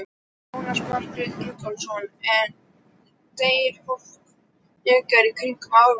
Jónas Margeir Ingólfsson: En deyr fólk frekar í kringum áramótin?